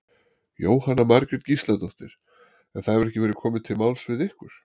Jóhanna Margrét Gísladóttir: En það hefur ekki verið komið til máls við ykkur?